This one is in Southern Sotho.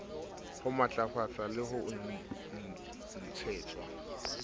ho matlafatswa le ho ntshetswa